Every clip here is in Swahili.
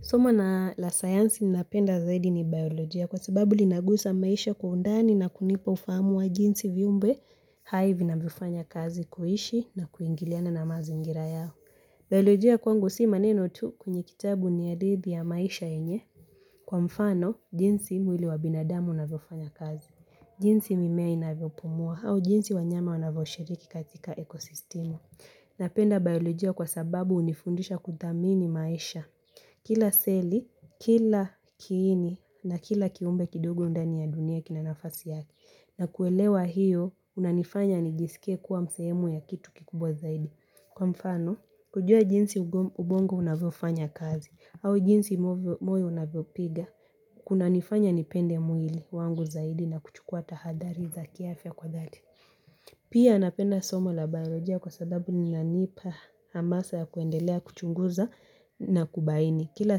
Somo la sayansi ninapenda zaidi ni biolojia, kwa sababu linagusa maisha kwa undani na kunipa ufahamu wa jinsi viumbe hai vinavyo fanya kazi kuishi na kuingiliana na mazingira yao. Biolojia kwangu si maneno tu kwenye kitabu. Ni hadithi ya maisha yenye, kwa mfano jinsi mwili wa binadamu unavyofanya kazi. Jinsi mimea inavyo pumua au jinsi wanyama wanavyo shiriki katika ekosistimu. Napenda biolojia kwa sababu hunifundisha kuthamini maisha. Kila seli, kila kiini na kila kiumbe kidogo ndani ya dunia kina nafasi yake. Na kuelewa hiyo, kunanifanya nijiskie kuwa ni sehemu ya kitu kikubwa zaidi. Kwa mfano, kujua jinsi ubongo unavyo fanya kazi, au jinsi moyo unavyo piga, kunanifanya nipende mwili wangu zaidi na kuchukua tahadhari za kiafya kwa dhati. Pia napenda somo la biolojia kwa sababu linanipa hamasa ya kuendelea kuchunguza na kubaini. Kila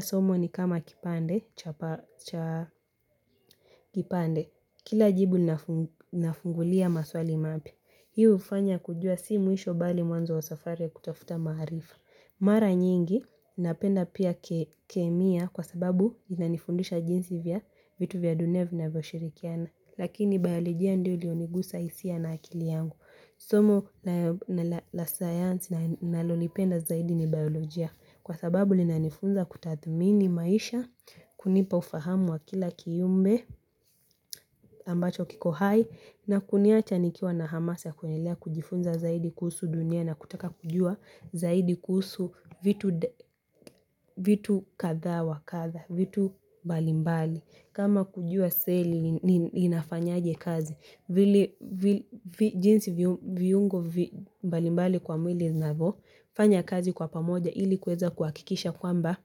somo ni kama kipande cha, kipande kila jibu linafungulia maswali mapya. Hii hufanya kujua si mwisho bali mwanzo wa safari kutafuta maarifa. Mara nyingi napenda pia kemia kwa sababu inanifundisha jinsi ya vitu vya dunia vinavyo shirikiana. Lakini biologia ndio ilionigusa hisia na akili yangu. Somo la sayansi ninalolipenda zaidi ni biolojia, kwa sababu linanifunza kutathmini maisha kunipa ufahamu wa kila kiumbe, ambacho kiko hai na kuniacha nikiwa na hamasa ya kuendelea kujifunza zaidi kuhusu dunia na kutaka kujua zaidi kuhusu vitu vitu kadha wa kadha vitu mbalimbali. Kama kujua seli inafanyaje kazi. Vile, jinsi viungo mbalimbali kwa mwili vinavyo fanya kazi kwa pamoja ili kuweza kuhakikisha kwamba,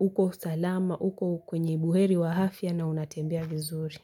uko salama, uko kwenye buheri wa afya na unatembea vizuri.